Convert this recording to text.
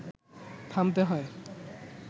থামতে হয়